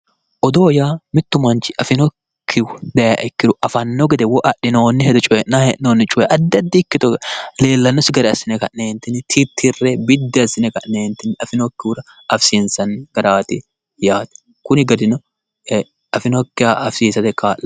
Odoo yaa mittu manchi afinokkihu daayha ikkiro afanno gede woy adhi'noonnire coye addi addi ikkito garinni leellannosi garinni assine ka'ne tittire biddi assi'ne ka'ne ti afi'nokkihura afisiinsanni garaati yaate, kuni garino agi'nokkiha afisiisate kaa'lanno.